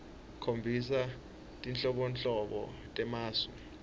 khombisa tinhlobonhlobo temasu